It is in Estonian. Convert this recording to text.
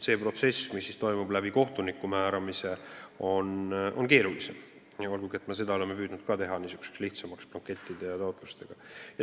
See protsess, mis toimub kohtuniku määramise kaudu, on keeruline, olgugi et me oleme püüdnud ka seda blankettide ja taotlustega lihtsamaks teha.